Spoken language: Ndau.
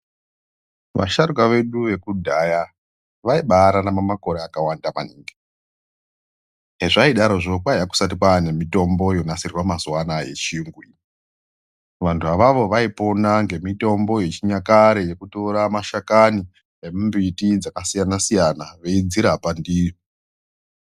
Vasharuka vedu vekudhaya vaibararama makore akawanda maningi eizvadorozvo kwaiya kusati kwaane mitombo inonasirwa mazuwa ano yechiyungu vanhu avavo vaipona ngemitombo yechinyakare yekutore mashakani nemimbiti yakasiyanasiyana veidzirapa ndiyo.